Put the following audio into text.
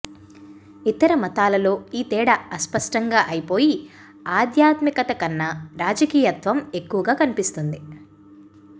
ఇతర మతాలలో ఈ తేడా అస్పష్టంగా అయిపోయి ఆధ్యాత్మికత కన్నా రాజకీయత్వం ఎక్కువగా కనిపిస్తుంది